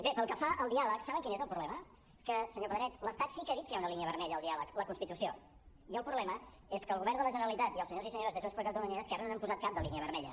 bé pel que fa al diàleg saben quin és el problema que senyor pedret l’estat sí que ha dit que hi ha una línia vermella al diàleg la constitució i el problema és que el govern de la generalitat i els senyors i senyores de junts per catalunya i esquerra no n’han posat cap de línia vermella